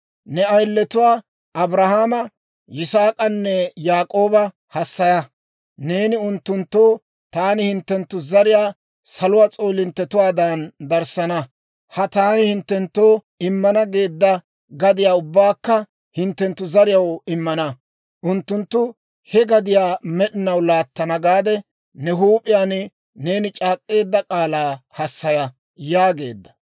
Ne ayiletuwaa Abrahaama, Yisaak'anne Yaak'ooba hassaya; neeni unttunttoo, ‹Taani hinttenttu zariyaa saluwaa s'oolinttetuwaadan darssana; ha taani hinttenttoo immana geedda gadiyaa ubbaakka hinttenttu zariyaw immana; unttunttu he gadiyaa med'inaw laattana› gaade ne huup'iyaan neeni c'aak'k'eedda k'aalaa hassaya» yaageedda.